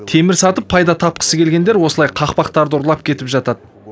темір сатып пайда тапқысы келгендер осылай қақпақтарды ұрлап кетіп жатады